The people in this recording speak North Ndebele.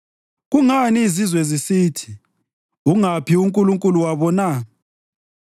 Kungani izizwe zisithi, “Ungaphi uNkulunkulu wabo na?”